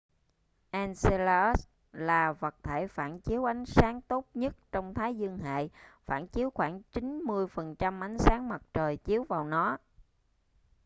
enceladus là vật thể phản chiếu ánh sáng tốt nhất trong thái dương hệ phản chiếu khoảng 90% ánh sáng mặt trời chiếu vào nó